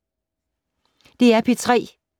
DR P3